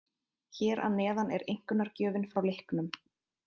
Hér að neðan er einkunnargjöfin frá leiknum.